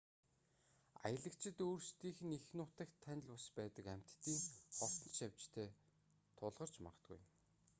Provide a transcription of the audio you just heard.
аялагчид өөрсдийнх нь эх нутагт танил бус байдаг амьтдын хортон шавжтай тулгарч магадгүй юм